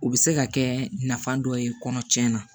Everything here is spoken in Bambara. U bɛ se ka kɛ nafa dɔ ye kɔnɔ tiɲɛnna